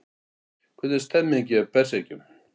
Hvernig er stemningin hjá Berserkjum?